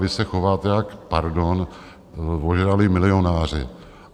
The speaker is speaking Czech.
Vy se chováte jak - pardon - ožralí milionáři.